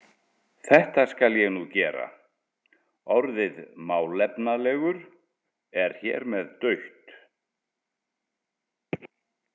Þetta skal ég nú gera: Orðið „málefnalegur“ er hér með dautt.